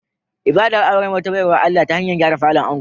Ibadar auren wata baiwar Allah ta hanyar gyara falon ango